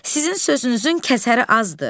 Sizin sözünüzün kəsəri azdır.